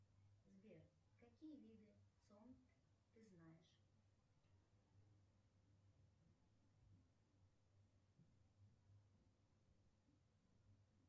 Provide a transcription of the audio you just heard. сбер какие виды цон ты знаешь